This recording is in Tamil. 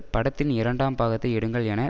படத்தின் இரண்டாம் பாகத்தை எடுங்கள் என